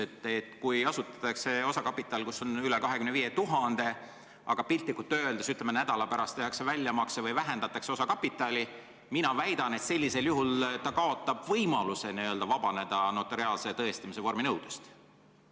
Ma väidan, et kui asutatakse osakapitaliga üle 25 000, aga piltlikult öeldes nädala pärast tehakse väljamakse või vähendatakse osakapitali, siis sellisel juhul kaotatakse võimalus vabaneda notariaalse tõestamise vorminõudest.